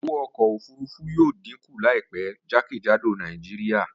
Owó ọkọ̀ òfurufú yóò díkù láìpẹ́ jákèjádò Nàìjíríà